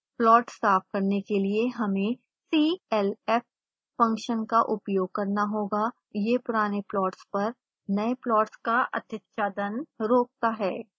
plot साफ करने के लिए हमें clf फंक्शन का उपयोग करना होगा यह पुराने प्लॉट्स पर नए प्लॉट्स का अतिच्छादन रोकता है